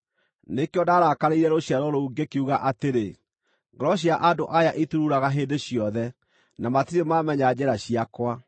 Nĩkĩo ndaarakarĩire rũciaro rũu, ngĩkiuga atĩrĩ, ‘Ngoro cia andũ aya itururaga hĩndĩ ciothe, na matirĩ maamenya njĩra ciakwa.’